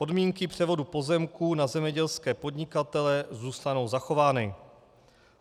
Podmínky převodu pozemků na zemědělské podnikatele zůstanou zachovány.